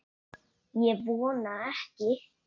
Ég vona ekki